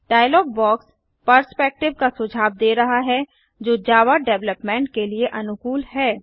dialogue box perspective का सुझाव दे रहा है जो जावा डेवलपमेंट के लिए अनुकूल है